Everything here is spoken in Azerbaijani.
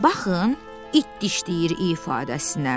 Baxın, it dişləyir ifadəsinə.